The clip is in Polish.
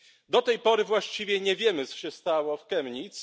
Do tej pory właściwie nie wiemy, co się stało w Chemnitz.